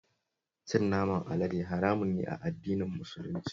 Cin naman alade haramun ne a addinin Musulunci